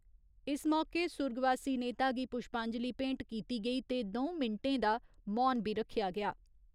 इस मौके सुर्गवासी नेता गी पुश्पांजलि भेंट कीती गेई ते दं'ऊ मिन्टें दा मौन बी रखेआ गेआ।